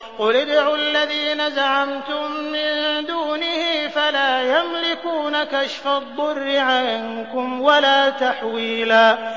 قُلِ ادْعُوا الَّذِينَ زَعَمْتُم مِّن دُونِهِ فَلَا يَمْلِكُونَ كَشْفَ الضُّرِّ عَنكُمْ وَلَا تَحْوِيلًا